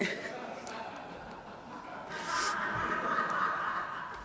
du har